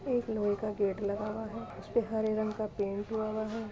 एक लोहे का गेट लगा हुआ हे जिस पे हरे रंग का पेंट हुआ हुआ है।